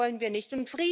Das wollen wir nicht.